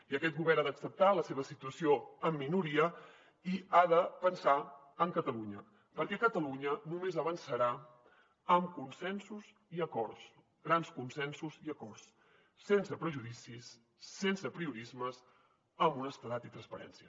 i aquest govern ha d’acceptar la seva situació en minoria i ha de pensar en catalunya perquè catalunya només avançarà amb consensos i acords grans consensos i acords sense prejudicis sense apriorismes amb honestedat i transparència